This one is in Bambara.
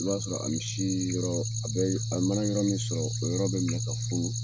O b'a sɔrɔ a bɛ sin yɔrɔ a bɛ, a mana yɔrɔ min sɔrɔ o yɔrɔ bɛ minɛ ka funu.